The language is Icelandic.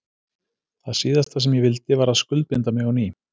Það síðasta sem ég vildi var að skuldbinda mig á ný.